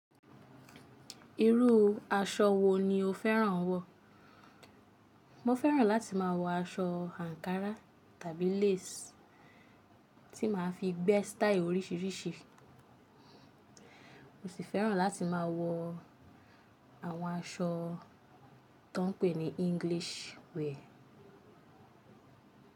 Irú aṣọ wo ni o fẹ́ràn wọ̀? Mo fẹ́ràn láti má wọ aṣọ àǹkárá tàbí lace tí màá fi gbé style oríṣiríṣi, mò sì fẹ́ràn láti máa wọ àwọn aṣọ tó ń pè ní English wear.